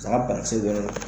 San ka bana kisɛ don ne dɔ.